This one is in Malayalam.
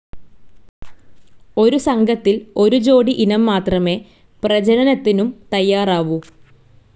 ഒരു സംഘത്തിൽ ഒരു ജോഡി ഇനം മാത്രമേ പ്രജനനത്തിനും തയാറാവൂ.